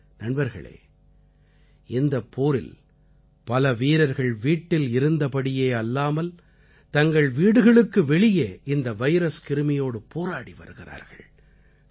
நண்பர்களே இந்தப் போரில் பல வீரர்கள் வீட்டில் இருந்தபடி அல்லாமல் தங்கள் வீடுகளுக்கு வெளியே இந்த வைரஸ் கிருமியோடு போராடி வருகிறார்கள்